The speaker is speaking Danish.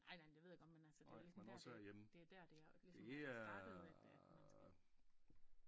Nej nej det ved jeg godt men altså det er ligesom der det det er der det ligesom er startet at man skal